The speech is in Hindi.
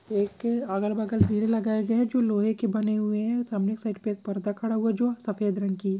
एक अगल बगल पेड़ लगाए गई है जो लोहे के बने हुए है सामने की साइड पे एक पर्दा खड़ा हुआ है जो सफ़ेद रंग की--